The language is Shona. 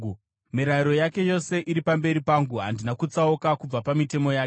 Mirayiro yake yose iri pamberi pangu; handina kutsauka kubva pamitemo yake.